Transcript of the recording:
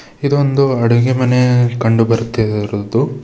ಇದೊಂದು ಅಡುಗೆಮನೆ ಕಂಡು ಬರುತ್ತೆ ಇರೋದು.